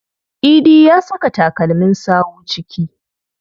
Idi ya saka takalmin sawu ciki.